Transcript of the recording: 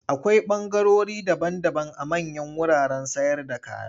Akwai ɓangarori daban-daban a manyan wuraren sayarda kaya.